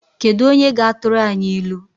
Kedu onye ga-atụrụ anyị ilu?